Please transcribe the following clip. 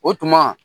O tuma